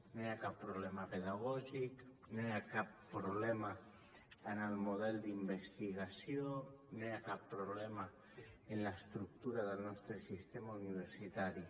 no hi ha cap problema pedagògic no hi ha cap problema en el model d’investigació no hi ha cap problema en l’estructura del nostre sistema universitari